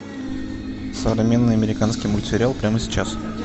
современный американский мультсериал прямо сейчас